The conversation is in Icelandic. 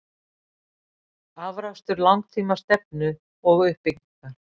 Afrakstur langtíma stefnu og uppbyggingar.